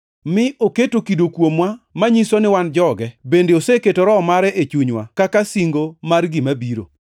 mi oketo kido kuomwa manyiso ni wan joge bende oseketo Roho mare e chunywa kaka singo mar gima biro.